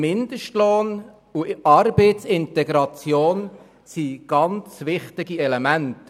Mindestlohn und Arbeitsintegration sind sehr wichtige Elemente.